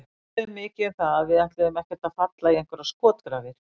Við töluðum mikið um það að við ætluðum ekkert að falla í einhverjar skotgrafir.